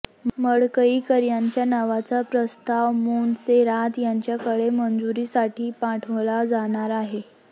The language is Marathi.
मडकईकर यांच्या नावाचा प्रस्ताव मोन्सेरात यांच्याकडे मंजुरीसाठी पाठवला जाणार आहे